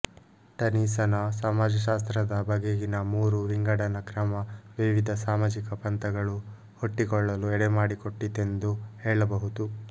ಟನೀಸನ ಸಮಾಜಶಾಸ್ತ್ರದ ಬಗೆಗಿನ ಮೂರು ವಿಂಗಡನ ಕ್ರಮ ವಿವಿಧ ಸಾಮಾಜಿಕ ಪಂಥಗಳು ಹುಟ್ಟಿಕೊಳ್ಳಲು ಎಡೆಮಾಡಿಕೊಟ್ಟಿತೆಂದು ಹೇಳಬಹುದು